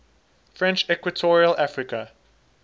french equatorial africa